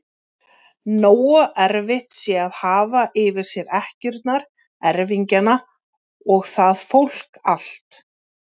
Nógu erfitt sé að hafa yfir sér ekkjurnar, erfingjana og það fólk allt!